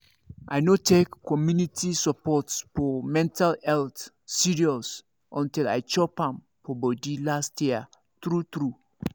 i no take community support for mental health serious until i chop am for body last year true true